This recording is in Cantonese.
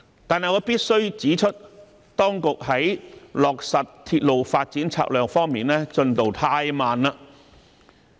但是，我必須指出，當局在落實鐵路發展策略方面的進度太慢。